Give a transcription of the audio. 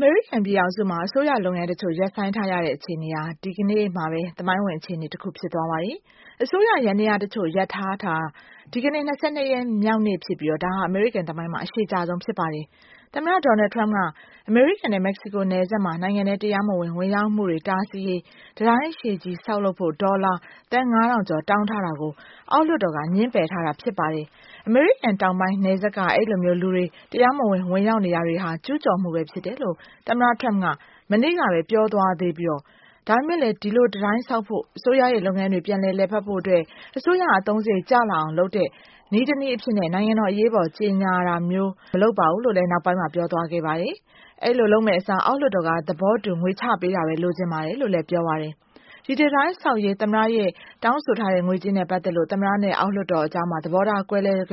မေရိကန်ပြည်ထောင်စုမှာ အစိုးရလုပ်ငန်းတချို့ ရပ်ဆိုင်းထားရတဲ့အခြေအနေဟာ ဒီကနေ့မှာပဲ သမိုင်းဝင်အခြေအနေတခု ဖြစ်သွားပါတယ်။ အစိုးရ ယန္တရားတချို့ရပ်ထားတာ ဒီကနေ့ ၂၂ ရက်မြောက်ဖြစ်ပြီးတော့ ဒါဟာ အမေရိကန်သမိုင်းမှာ အရှည်ကြာဆုံးဖြစ်ပါတယ်။ သမ္မတ ဒေါနယ်လ်ထရမ့်က အမေရိကန်နဲ့ မက္ကဆီကို နယ်စပ်မှာ နိုင်ငံထဲတရားမဝင် ဝင်ရောက်မှုတွေတားဆီးရေး၊ တံတားအရှည်ကြီးတည်ဆောက်ဖို့ ဒေါ်လာသန်း ၅ ထောင်ကျော်တောင်းထားတာကို အောက်လွှတ်တော်က ငြင်းပယ်ထားတာဖြစ်ပါတယ်။ အမေရိကန်တောင်ပိုင်းနယ်စပ်က အဲဒီလိုမျိုးလူတွေ တရားမဝင် ဝင်ရောက်နေတာတွေဟာ ကျူးကျော်မှုတွေဖြစ်တယ်လို့ သမ္မတထရမ့်က မနေ့ကပဲပြောသွားသေးပြီးတော့ ဒါပေမဲ့လည်း ဒီလိုတံတိုင်းဆောက်ဖို့ အစိုးရရဲ့ လုပ်ငန်းတွေပြန်လည် လည်ပတ်ဖို့အတွက် အစိုးရအသုံးစရိတ်တွေကျလာအောင်လုပ်တဲ့ နေ့တနေ့ အဖြစ်နဲ့ နိုင်ငံတော်အရေးပေါ်ကြေညာတာမျိုး မလုပ်ပါဘူးလို့နောက်ပိုင်းမှာပြောသွားခဲ့ပါတယ်။ အဲဒီလိုလုပ်မယ့် အစားအောက်လွှတ်တော်သဘောတူငွေချပေးတာပဲ လိုချင်ပါတယ်လို့ ပြောပါတယ်။ ဒီတံတိုင်းတည်ဆောက်ရေး သမ္မတရဲ့တောင်းဆိုထားတဲ့ ငွေကြေးနဲ့ပတ်သက်လို့ သမ္မတနဲ့ အောက်လွှတ်တော်ကြားမှာ သဘောထားကွဲလွှဲလို့